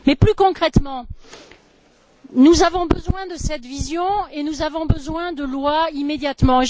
Mais plus concrètement, nous avons besoin de cette vision, et nous avons besoin de lois immédiatement.